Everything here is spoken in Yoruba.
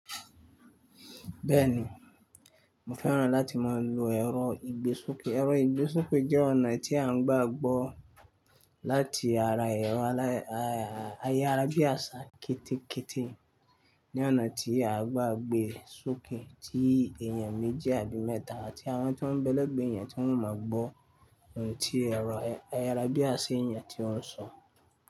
Bẹ́ẹ̀ni, mo fẹ́ràn láti máa lo ẹ̀rọ ìgbésókè. Ẹ̀rọ ìgbésókè jẹ́ ọ̀nà tí a ń gbàgbọ́ láti ara ẹ̀rọ ayárabíàṣá kété kété ní ọ̀nà tí a gbàgbé sókè, tí èèyàn méjì àbí mẹ́ta àti àwọn tí wọ́n bẹlé gbé èèyàn tí wọ́n ò mọ̀ gbọ́ ohùn tí ẹ̀rọ ayárabíàṣá èèyàn tí ó ń sọ.